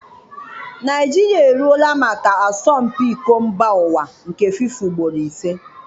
Naịjirịa eruola maka asọmpi Iko Mbaụwa nke FIFA ugboro ise.